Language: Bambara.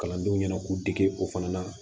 Kalandenw ɲɛna k'u dege o fana na